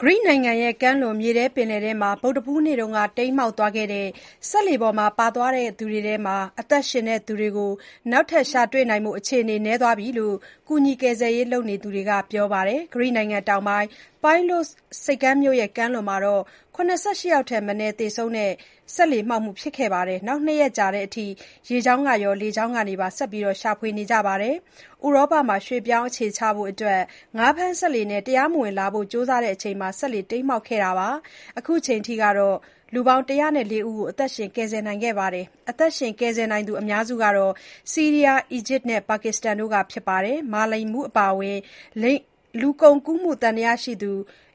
ဂရိနိုင်ငံကမ်းလွန် မြေထဲပင်လယ်ထဲမှာ ဗုဒ္ဓဟူးနေ့က တိမ်းမှောက်ခဲ့တဲ့ စက်လှေပေါ် ပါသွားသူတွေထဲက အသက်ရှင်သူတွေ နောက်ထပ် ရှာတွေ့နိုင်ဖို့ အခြေအနေ နည်းသွားပြီလို့ ကူညီကယ်ဆယ်ရေးလုပ်သူတွေက ပြောပါတယ်။ ဂရိနိုင်ငံတောင်ပိုင်း Pylos ဆိပ်ကမ်းမြို့ကမ်းလွန်မှာ ၇၈ ယောက်ထက်မနည်း သေဆုံးခဲ့တဲ့ စက်လှေမှောက်မှုဖြစ်ပြီး ၂ ရက်ကြာတဲ့အထိ ရေကြောင်းရော လေကြောင်းကနေပါ ဆက်လက်ရှာဖွေနေကြပါတယ်။ ဥရောပမှာ ရွှေ့ပြောင်းအခြေချဖို့ ငါးဖမ်းစက်လှေနဲ့ တရားမဝင်လာဖို့ ကြိုးစားစဉ် စက်လှေမှောက်ခဲ့တာပါ။ အခုအချိန်အထိ ၁၀၄ ယောက်ကို အသက်ရှင် ကယ်ဆယ်နိုင်ခဲ့ပါတယ်။ အသက်ရှင်ကယ်ဆယ်နိုင်သူအများစုက ဆီးရီးယား၊ အီဂျစ်နဲ့ ပါကစ္စတန်တို့က ဖြစ်ကြပါတယ်။ မာလိန်မှုးအပါအဝင် လူကုန်ကူး သံသယရှိသူ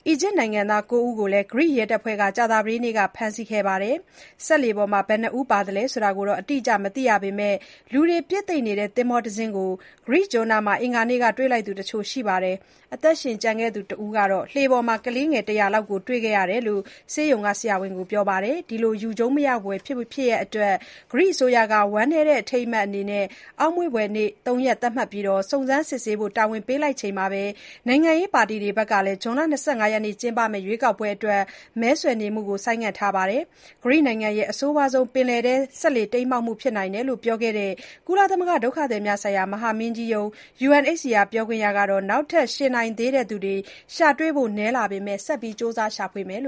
အီဂျစ်နိုင်ငံသား ၉ ဦးကိုလည်း ဂရိရဲတပ်ဖွဲ့က ကြာသပတေးနေ့က ဖမ်းဆီးခဲ့ပါတယ်။ စက်လှေပေါ်မှာ ဘယ်နှစ်ဦး ပါလာလဲဆိုတာ အတိအကျ မသိရပေမဲ့ လူတွေပြည့်သိပ်နေတဲ့ သင်္ဘောတစီးကို ဂရိကျွန်းနားမှာ အင်္ဂါနေ့က တွေ့လိုက်သူတချို့ရှိပါတယ်။ အသက်ရှင်ကျန်ခဲ့သူတစ်ဦးကတော့ လှေပေါ်မှာ ကလေးငယ် ၁၀၀ လောက်ကို တွေ့ခဲ့ရတယ်လို့ Kalamata ဆိပ်ကမ်းမြို့ ဆေးရုံက ဆရာဝန်တွေကို ပြောပြခဲ့ပါတယ်။ ဒီ ယူကြုံးမရဖွယ်ဖြစ်ရပ်အတွက် ဂရိအစိုးရကလည်း အောက်မေ့ဖွယ်နေ့ ၃ ရက် သတ်မှတ်လိုက်ပြီး စုံစမ်းစစ်ဆေးဖို့တာဝန်ပေးလိုက်ချိန်မှာ၊ နိုင်ငံရေးပါတီတွေကလည်း ဇွန်လ ၂၅ ရက်ကျင်းပမယ့် ရွေးကောက်ပွဲတွေအတွက် မဲဆွယ်နေမှုကို ဆိုင်းငံ့ ထားလိုက်ကြပါတယ်။ ဂရိရဲ့ အဆိုးဝါးဆုံး ပင်လယ်ထဲ စက်လှေတိမ်းမှောက်မှုဖြစ်နိုင်တယ်လို့ပြောခဲ့တဲ့ ကုလသမဂ္ဂဒုက္ခသည်များဆိုင်ရာမဟာမင်းကြီးရုံး UNHCR ပြောခွင့်ရ Stella Nanou က၊ နောက်ထပ်ရှင်နေသေးသူတွေ ရှာတွေ့ဖို့နည်းလာပေမဲ့ ဆက်ကြိုးစားရှာဖွေရဦးမယ်လို့